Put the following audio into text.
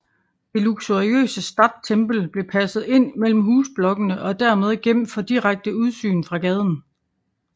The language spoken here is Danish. Det luxuriøse Stadttempel blev passet ind mellem husblokkene og dermed gemt fra direkte udsyn fra gaden